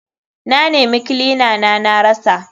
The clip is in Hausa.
Na nema kilina na na rasa.